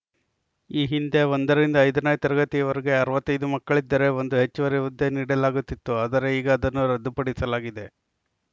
ಈ ಹಿಂದೆ ಒಂದರಿಂದ ಐದನೇ ತರಗತಿಯವರೆಗೆ ಅರವತ್ತ್ ಐದು ಮಕ್ಕಳಿದ್ದರೆ ಒಂದು ಹೆಚ್ಚುವರಿ ಹುದ್ದೆ ನೀಡಲಾಗುತ್ತಿತ್ತು ಆದರೆ ಈಗ ಅದನ್ನು ರದ್ದುಪಡಿಸಲಾಗಿದೆ